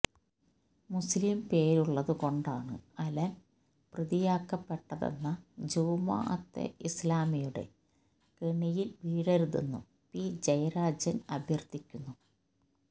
മുസ്ലിം പേരുള്ളത് കൊണ്ടാണ് അലന് പ്രതിയാക്കപ്പെട്ടതെന്ന ജമാഅത്തെ ഇസ്ലാമിയുടെ കെണിയില് വീഴരുതെന്നും പി ജയരാജന് അഭ്യര്ത്ഥിക്കുന്നു